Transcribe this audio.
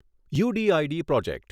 you D I D project